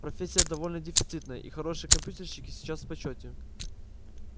профессия довольно дефицитная и хорошие компьютерщики сейчас в почёте